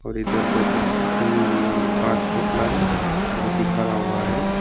और इधर दो तीन पांच पुतला है जो की खड़ा हुआ है।